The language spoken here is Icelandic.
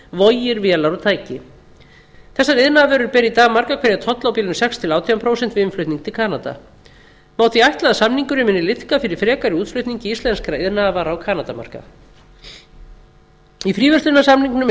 vogir vélar og tæki þessar iðnaðarvörur bera í dag margar hverjar tolla á bilinu sex til átján prósent við innflutning til kanada má því ætla að samningurinn muni liðka fyrir frekari útflutningi íslenskra iðnaðarvara á kanadamarkað í fríverslunarsamningnum er